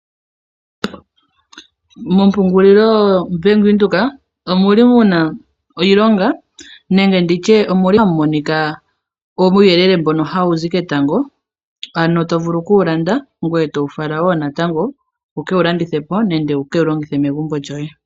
Mo mpungulilo yo Bank Windhoek omu li muna iilonga, nenge nditye omuli hamu monika uuyelele mbono hawu zi ketango, ano tovulu kuwu landa ngwee towu fala woo natango, wuke wu landithepo nenge wu kewu longithepo megumbo djoye.